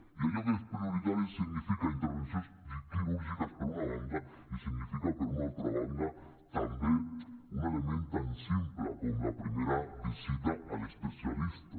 i allò que és prioritari significa intervencions quirúrgiques per una banda i significa per una altra banda també un element tan simple com la primera visita a l’especialista